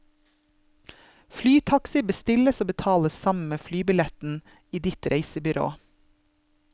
Flytaxi bestilles og betales sammen med flybilletten i ditt reisebyrå.